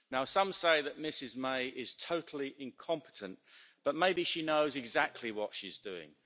Some say that Ms May is totally incompetent, but maybe she knows exactly what she's doing.